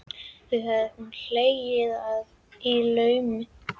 Því hefur hún hlegið að í laumi.